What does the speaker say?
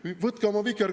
Ei ole irvitada midagi!